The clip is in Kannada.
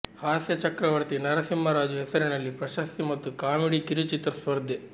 ಹಾಸ್ಯ ಚಕ್ರವರ್ತಿ ನರಸಿಂಹರಾಜು ಹೆಸರಲ್ಲಿ ಪ್ರಶಸ್ತಿ ಮತ್ತು ಕಾಮಿಡಿ ಕಿರುಚಿತ್ರ ಸ್ಪರ್ಧೆ